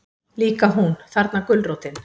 Líka hún, þarna gulrótin.